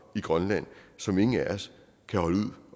i grønland som ingen af os kan holde ud